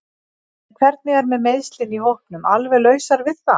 En hvernig er með meiðslin í hópnum alveg lausar við það?